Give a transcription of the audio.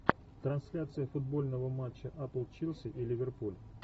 трансляция футбольного матча апл челси и ливерпуль